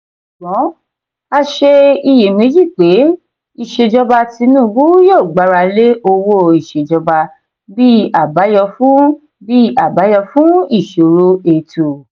sùgbón a ṣe iyèméjì pé ìṣèjọba tinubu yóò gbara lé owó ìṣèjọba bí abayọ fún bí abayọ fún ìṣòro ètò.